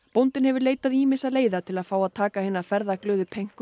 bóndinn hefur leitað ýmissa leiða til að fá að taka hina ferðaglöðu